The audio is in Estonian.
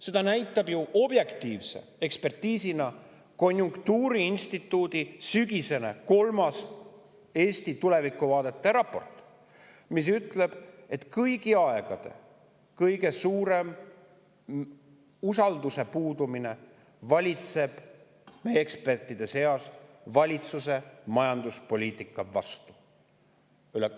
Seda näitab ju objektiivse ekspertiisiga konjunktuuriinstituudi kolmas, sügisene Eesti tulevikuvaadete raport, mis ütleb, et meie ekspertide seas valitseb kõigi aegade kõige suurem usalduse puudumine valitsuse majanduspoliitika vastu.